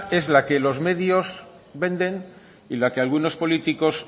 es la que los medios venden y la que algunos políticos